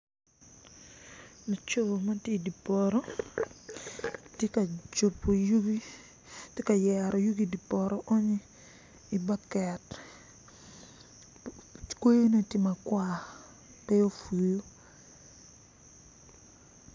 Laco ma ti idi poto ti ka jubu yugi ti ka yero yugi ki idi poto onyi ibaket kweyine ti matar pe ofuyu